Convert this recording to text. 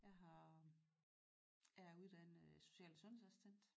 Jeg har er uddannet social- og sundhedsassistent